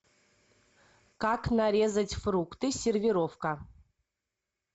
как нарезать фрукты сервировка